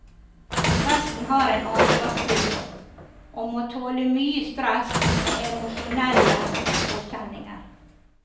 Presten har en ansvarsfull jobb, og må tåle mye stress og emosjonelle påkjenninger.